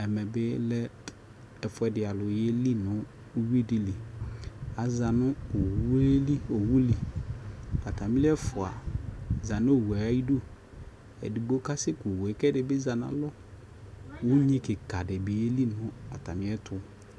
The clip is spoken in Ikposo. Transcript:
ɛmɛ bi lɛ ɛƒʋɛdi alʋ yɛli nʋ ʋwi dili, aza nʋ ɔwʋɛli, atamili ɛƒʋa zanʋɔwʋɛ ayidʋ, ɛdigbɔ kasɛ kʋ ɔwʋɛ kʋ ɛdibi zanʋ alɔ ʋnyi kikaa di dibi yɛli nʋ atami ɛtʋ